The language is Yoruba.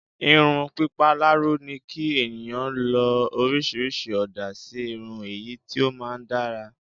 irun pipa laro ni ki eniyan lo orisirisi ooda si irun eyi ti o maa n dara